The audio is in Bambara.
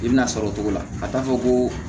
I bina sɔrɔ o togo la ka taa fɔ ko